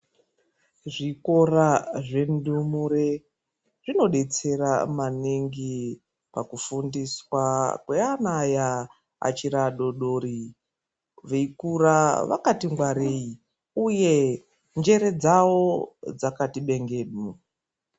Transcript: Zvikora zvendumure ,zvinodetsera maningi pakufundiswa kweanaya vachiri vadori dori veyikure vakatingwareyi uye njere dzawo dzakati bengeku.